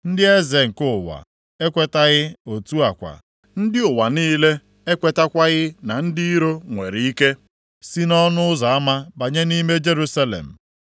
Ndị eze nke ụwa ekwetaghị; otu a kwa, ndị ụwa niile ekwetakwaghị na ndị iro nwere ike si nʼọnụ ụzọ ama banye nʼime Jerusalem.